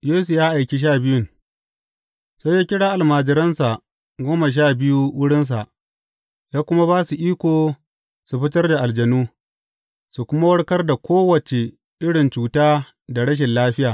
Yesu ya aiki sha biyun Sai ya kira almajiransa goma sha biyu wurinsa ya kuma ba su iko su fitar aljanu, su kuma warkar da kowace irin cuta da rashin lafiya.